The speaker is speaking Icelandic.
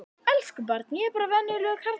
Elsku barn, ég er bara venjulegur karlmaður.